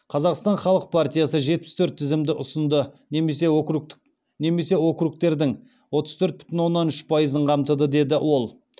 қазақстан халық партиясы жетпіс төрт тізімді ұсынды немесе округтердің отыз төрт бүтін оннан үш пайызын қамтыды деді ол